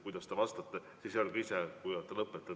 Kui te vastate, siis öelge ise, kui olete lõpetanud.